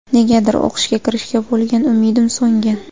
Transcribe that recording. Negadir o‘qishga kirishga bo‘lgan umidim so‘ngan.